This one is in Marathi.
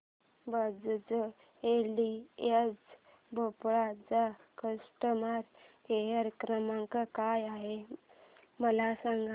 बजाज एलियांज भोपाळ चा कस्टमर केअर क्रमांक काय आहे मला सांगा